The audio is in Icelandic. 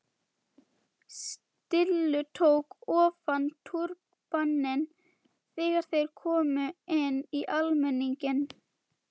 Stulli tók ofan túrbaninn þegar þeir komu inn í almenninginn.